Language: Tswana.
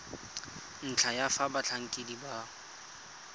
ntlha ya fa batlhankedi ba